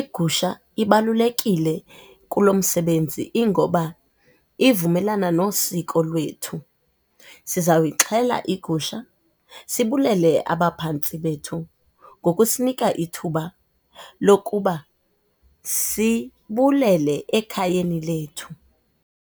Igusha ibalulekile kulo msebenzi ingoba ivumelana nosiko lwethu. Sizawuyixhela igusha sibulele abaphantsi bethu ngokusinika ithuba lokuba sibulele ekhayeni lethu.